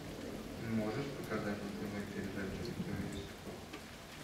можешь показать на тв передачу кто есть кто